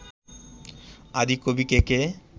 আদি কবি কে কে